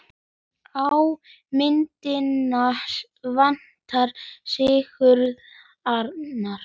Á myndina vantar Sigurð Arnar.